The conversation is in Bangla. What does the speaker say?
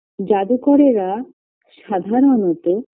জাদুকরেরা সাধারণত